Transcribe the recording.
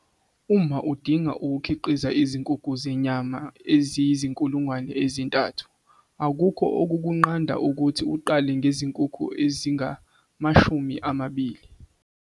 Uma udinga ukukhiqiza izinkukhu zenyama eziyizi-3 000, akukho okukunqanda ukuthi uqale ngezinkukhu ezingama-20.